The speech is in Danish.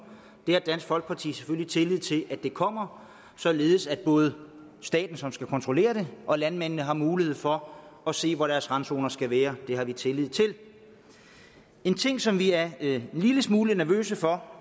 dansk folkeparti har selvfølgelig tillid til at det kommer således at både staten som skal kontrollere det og landmændene har mulighed for at se hvor deres randzoner skal være det har vi tillid til en ting som vi er en lille smule nervøse for